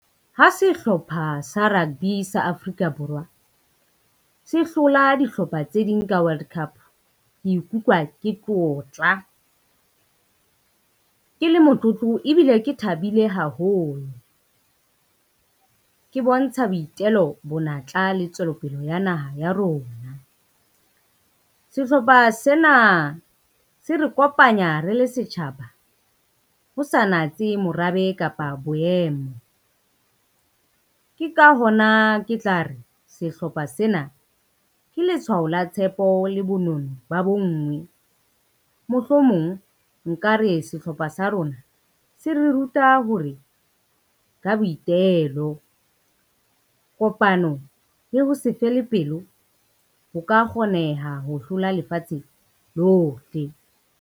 Ha sehlopha sa rugby sa Afrika Borwa, se hlola dihlopha tse ding ka World Cup, ke ikutlwa ke tlotla ke le motlotlo, ebile ke thabile haholo. Ke bontsha boitelo bona, matla le tswelopele ya naha ya rona. Sehlopha sena se re kopanya re le setjhaba ho sa natse morabe kapa boemo. Ke ka hona ke tla re sehlopha sena ke letshwao la tshepo le bonono ba bonngwe. Mohlomong nka re sehlopha sa rona se re ruta hore ka boitelo, kopano le ho se fele pelo ho ka kgoneha ho hlola lefatshe lohle.